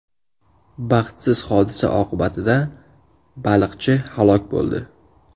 Baxtsiz hodisa oqibatida baliqchi halok bo‘ldi.